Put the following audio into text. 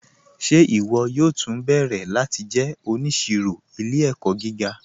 Ṣe iwọ yóò tú nbẹ̀rẹ̀ láti jẹ́ oníṣìrò ilẹ̀-ẹ̀kọ̀ gíga?